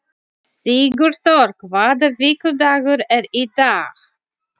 Sigurþór, hvaða vikudagur er í dag?